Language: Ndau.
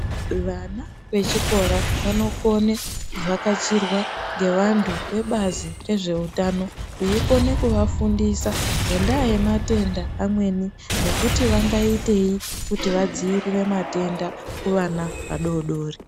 Vana vechikora vanokone kuvhakachirwa ngevantu vebazi rezveutano veikona kuvafundisa ngendaa yematenda amweni nekuti vangaitei kuti vadziirire matenda kuvana vadoodori.